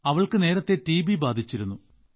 അവൾക്ക് നേരത്തെ ടിബി ബാധിച്ചിരുന്നു